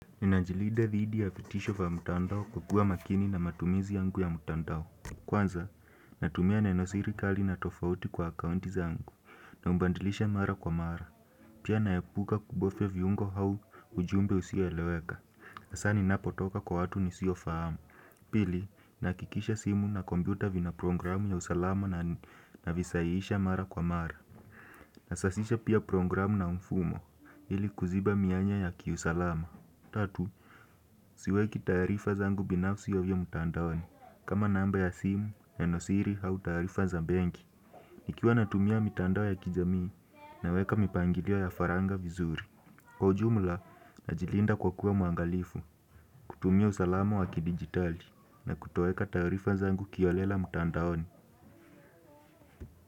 Ninanijilida dhidi ya fitisho vya mutandao kukua makini na matumizi yangu ya mutandao. Kwanza, natumia nenosiri kali na tofauti kwa akaunti zangu na umbandilisha mara kwa mara. Pia naepuka kubofia viungo au ujumbe usioeleweka. Hasa ninapotoka kwa watu nisio fahamu. Pili, nahakikisha simu na kompyuta vina programu ya usalama navisaiisha mara kwa mara. Nasasisha pia programu na mfumo. Hili kuziba mianya ya kiusalama. Tatu, siweki taarifa zangu binafsi ovyo mtandaoni, kama namba ya simu, nenosiri, au taarifa za benki, nikiwa natumia mitandao ya kijamii naweka mipangilia ya faragha vizuri, kwa ujumla na jilinda kwa kuwa mwangalifu, kutumia usalama waki digitali, na kutoeka taarifa zangu kiholela mtandaoni.